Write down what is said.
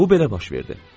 Bu belə baş verdi.